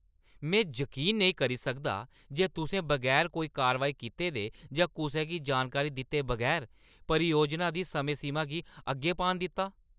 मैं जकीन नेईं करी सकदा जे तुसें बगैर कोई कारवाई कीते दे जां कुसै गी जानकारी दित्ते बगैर परियोजना दी समें-सीमा गी अग्गें पान दित्ता।